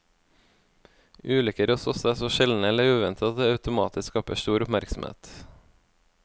Ulykker hos oss er så sjeldne eller uventede at det automatisk skaper stor oppmerksomhet.